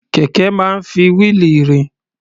Kẹ̀ké máa ń fi wíìlì rìn.